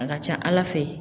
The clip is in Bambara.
A ka ca Ala fɛ